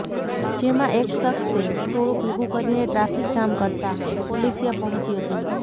જેમાં એક શખ્સે ટોળું ભેગું કરીને ટ્રાફિક જામ કરતાં પોલીસ ત્યાં પહોંચી હતી